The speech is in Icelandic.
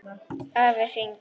Afi hringir